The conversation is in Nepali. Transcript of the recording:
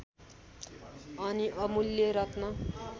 अनि अमूल्य रत्न